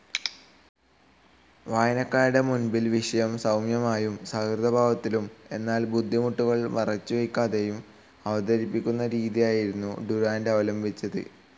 വായനക്കാരുടെ മുൻപിൽ വിഷയം സൗമ്യമായും സൗഹൃദാഭാവത്തിലും എന്നാൽ ബുദ്ധിമുട്ടുകൾ മറച്ചുവക്കാതെയും അവതരിപ്പിക്കുന്ന രീതിയായിരുന്നു ഡുറാന്റ് അവലംബിച്ചത്.